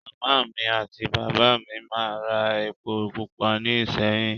Màmá mi àti bàbá mi máa ń ra epo pupa ní ìṣéyìn